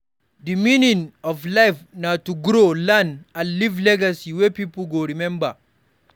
Di meaning of life na to grow, learn, and leave legacy wey pipo go rememba.